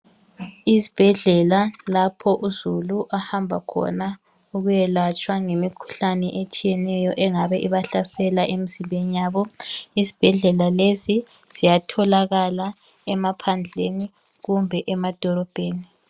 Isibhedlela lapha uzulu ahamba khona ukuyelatshwa ngemikhuhlane eminengi engabahlasela emizimbeni yabo, izibhedlela lezi ziyatholakala emaphandleni kumbe edolobheni.